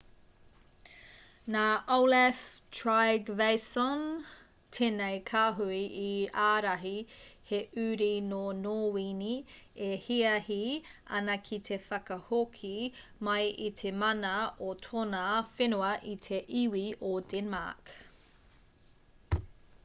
nā olaf trygvasson tēnei kāhui i ārahi he uri nō nōwini e hiahi ana ki te whakahoki mai i te mana o tōna whenua i te iwi o denmark